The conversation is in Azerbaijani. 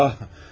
Ah!